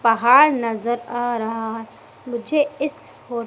पहाड़ नजर आ रहा है मुझे इस फो--